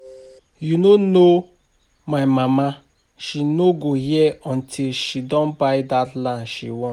You no know my mama, she no go hear until she don buy dat land she want